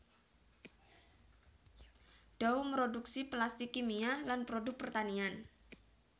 Dow mroduksi plastik kimia lan produk pertanian